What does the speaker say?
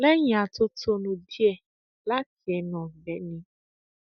lẹyìn atótónu díẹ láti ẹnu ọgbẹni